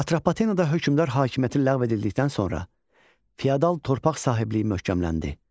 Atropatenada hökmdar hakimiyyəti ləğv edildikdən sonra feodal torpaq sahibliyi möhkəmləndi.